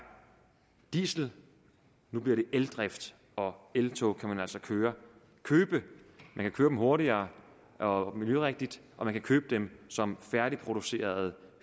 diesel nu bliver det eldrift og eltog kan man altså køre hurtigere og miljørigtigt og man kan købe dem som færdigproduceret